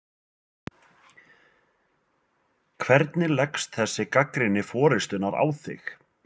Þóra Kristín: Hvernig leggst þessi gagnrýni forystunnar á þig?